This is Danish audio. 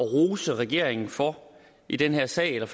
at rose regeringen for i den her sag eller